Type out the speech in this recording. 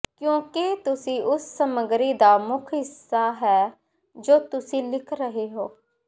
ਕਿਉਂਕਿ ਤੁਸੀਂ ਉਸ ਸਮੱਗਰੀ ਦਾ ਮੁੱਖ ਹਿੱਸਾ ਹੈ ਜੋ ਤੁਸੀਂ ਲਿਖ ਰਹੇ ਹੋ